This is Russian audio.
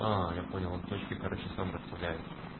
я понял он точки короче сам расставляет